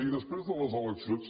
i després de les eleccions